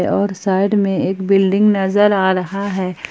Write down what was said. और साइड में एक बिल्डिंग नजर आ रहा है ।